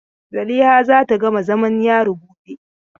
Zaliha za ta gama zamam yari gobe.